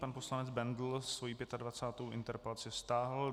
Pan poslanec Bendl svoji 25. interpelaci stáhl.